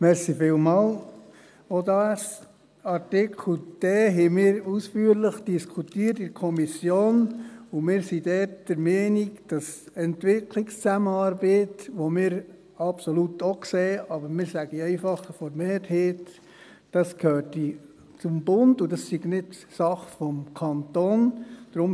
der SiK. Auch Buchstabe d haben wir in der Kommission ausführlich diskutiert, und wir sind dort der Meinung, dass Entwicklungszusammenarbeit – die wir absolut auch sehen, aber ich sage einfach von der Mehrheit – zum Bund gehört und nicht Sache des Kantons ist.